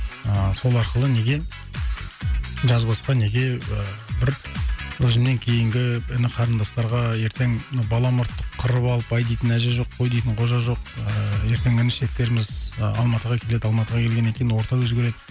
ыыы сол арқылы неге жазбасқа неге бір өзіңнен кейінгі іні қарындастарға ертең бала мұртты қырып алып әй дейтін әже жоқ қой дейтін қожа жоқ ыыы ертең інішектеріміз алматыға келеді алматыға келгеннен кейін орта өзгереді